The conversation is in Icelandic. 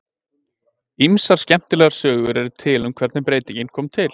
Ýmsar skemmtilegar sögur eru til um hvernig breytingin kom til.